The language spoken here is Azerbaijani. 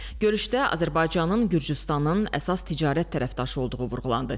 Görüşdə Azərbaycanın Gürcüstanın əsas ticarət tərəfdaşı olduğu vurğulandı.